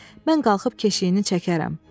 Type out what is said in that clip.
Mən qalxıb keşiyini çəkərəm.